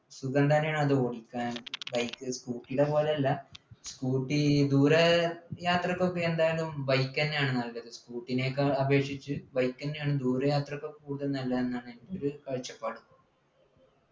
സുഖംതന്നെയാണ് അത് ഓടിക്കാൻ bike scooter യുടെ പോലെയല്ല scooter ദൂരെ യാത്രക്കൊക്കെ എന്തായാലും bike ന്നെയാണ് നല്ലത് scooter നേക്കാ അപേക്ഷിച്ച് bike തന്നെയാണ് ദൂരെ യാത്രയ്ക്ക് കൂടുതൽ നല്ലത് എന്നാണ് എൻ്റെ ഒരു കാഴ്ചപ്പാട്